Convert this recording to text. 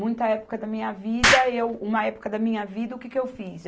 Muita época da minha vida, eu, uma época da minha vida, o que que eu fiz?